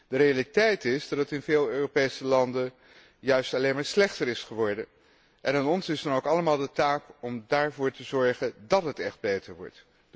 De realiteit is dat het in veel Europese landen juist alleen maar slechter is geworden, en aan ons is dan ook allemaal de taak ervoor te zorgen dát het echt beter wordt.